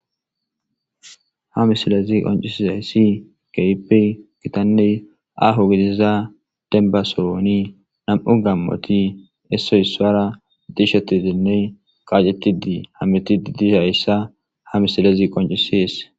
Ha missilezi qonc'isizaysi kehipe gitane aho gidiza demba sohoni nam'u gamoti isoy isuwara dishetidine qac'etidi hamutidi dizaysa ha missilezi qonc'ses.